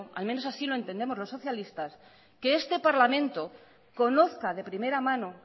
al menos así lo entendemos los socialistas que este parlamento conozca de primera mano